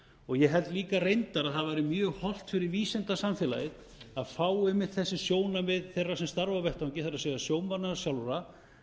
og ég held líka reyndar að það væri mjög hollt fyrir vísindasamfélagið að fá einmitt þessi sjónarmið þeirra sem starfa á vettvangi það er sjómannanna sjálfra